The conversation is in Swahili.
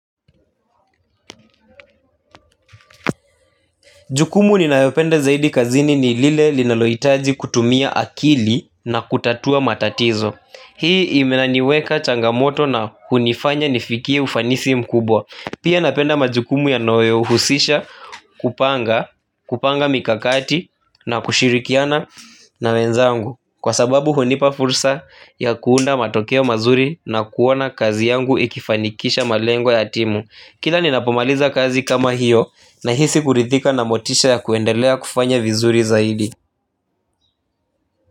Jukumu ninayopenda zaidi kazini ni lile linaloitaji kutumia akili na kutatua matatizo. Hii imeniweka changamoto na hunifanya nifikie ufanisi mkubwa. Pia napenda majukumu yanayohusisha kupanga kupanga mikakati na kushirikiana na wenzangu. Kwa sababu hunipa fursa ya kuunda matokeo mazuri na kuona kazi yangu ikifanikisha malengo ya timu. Kila ninapomaliza kazi kama hiyo n hisi kuridhika na motisha ya kuendelea kufanya vizuri zaidi.